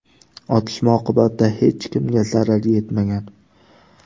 Otishma oqibatida hech kimga zarar yetmagan.